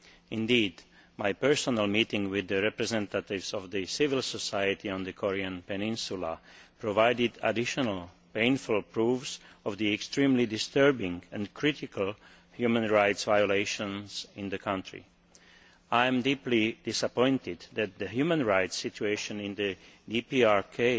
Indeed, my personal meeting with civil society representatives on the Korean peninsula provided additional painful proof of the extremely disturbing and critical human rights violations in the country. I am deeply disappointed that the human rights situation in the DPRK